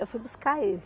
Eu fui buscar ele.